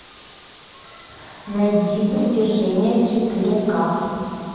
найди притяжение четыре ка